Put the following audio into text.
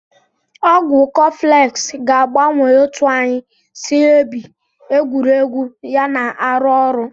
Ọgwụ kọflx ga-agbanwe otu anyị si ebi, egwuregwu ya na arụ ọrụ.